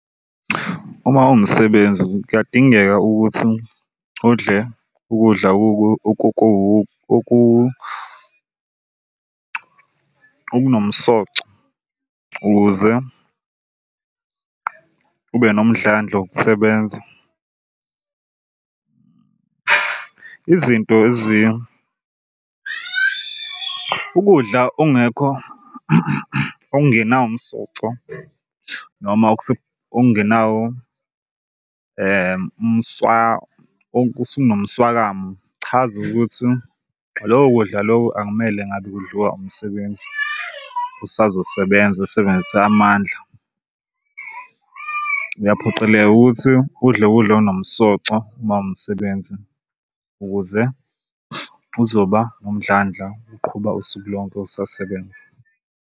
Uma uwumsebenzi kuyadingeka ukuthi udle ukudla okunomsoco ukuze ube nomdlandla wokusebenza. Izinto ukudla okungekho okungenawo umsoco noma okungenawo mswakamo chaza ukuthi loku kudla loku akumele ngabe kudliwa umsebenzi osazosebenza asebenzise amandla. Uyaphoqeleka ukuthi udle ukudla okunomsoco uma uwumsebenzi ukuze uzoba nomdlandla uqhuba usuku lonke usasebenza.